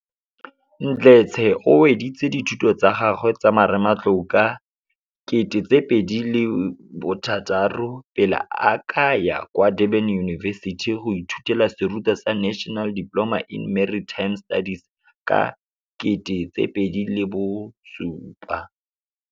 Mdletshe o weditse dithuto tsa gagwe tsa marematlou ka 2006, pele a ka ya kwa Durban University of Technology go ithutela serutwa sa National Diploma in Maritime Studies ka 2007.